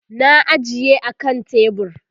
na ajiye a kan tebur